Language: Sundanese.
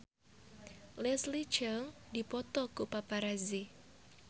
Leslie Cheung dipoto ku paparazi